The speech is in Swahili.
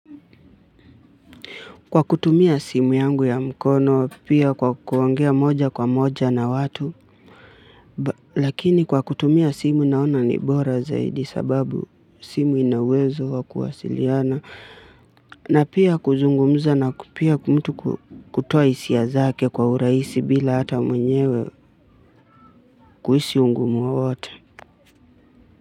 Kwa kutumia simu yangu ya mkono, pia kwa kuongea moja kwa moja na watu, lakini kwa kutumia simu naona ni bora zaidi kwa sababu simu inauwezo wa kuwasiliana na pia kuzungmza na pia mtu kutoa hisia zake kwa urahisi bila hata mwenyewe kuhisi ungumu wowote.